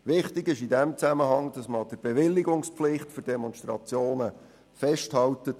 Wichtig ist in diesem Zusammenhang, dass man an der Bewilligungspflicht für Demonstrationen festhält.